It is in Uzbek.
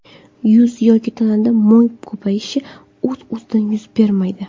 Yuz yoki tanada mo‘y ko‘payishi o‘z-o‘zidan yuz bermaydi.